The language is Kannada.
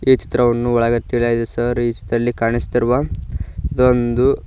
ಈ ಚಿತ್ರವನ್ನು ಒಳಗೆ ಟಿಲಾಗಿದೆ ಸರ್ ಈ ಚಿತ್ರದಲ್ಲಿ ಕಾಣಸ್ತಿರುವ ಇದೊಂದು--